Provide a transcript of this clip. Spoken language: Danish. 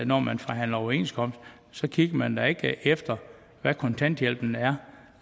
når man forhandler overenskomst så kigger man da ikke efter hvad kontanthjælpen